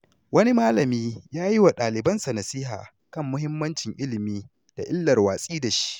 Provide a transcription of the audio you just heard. Wani malami ya yi wa ɗalibansa nasiha kan muhimmancin ilimi da illar watsi da shi.